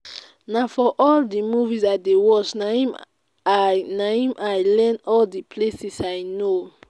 na for all the movies i dey watch na im i na im i learn all the places i know